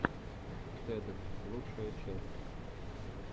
тед лучшая часть